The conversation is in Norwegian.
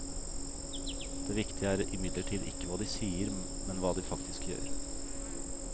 Det viktige er imidlertid ikke hva de sier, men hva de faktisk gjør.